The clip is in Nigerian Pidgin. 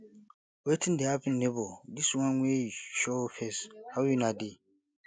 wetin dey happen nebor dis one wey you show face how una dey